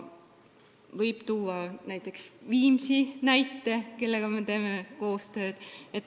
Võib tuua näiteks ka Viimsi, kellega me koostööd teeme.